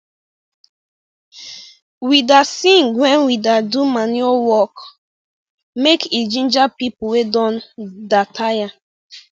we da sing when we da do manure work make e ginger people wey don da taya